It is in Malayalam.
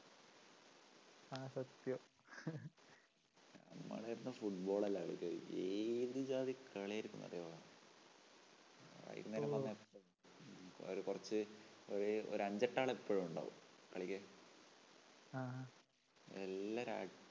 നമ്മളെല്ലാം football അല്ലേ കളിക്കാറ്‌. ഏതു ജാതി കളിയായിരുന്നുവെന്നറിയോ? ഓ വൈകുന്നേരം വന്നാ ഒരു കൊറച്ചു ഒരുഒരു ഒരഞ്ചട്ടാള് എപ്പോഴും ഉണ്ടാവും കളിക്കാൻ. ആഹാ എല്ലാരും അ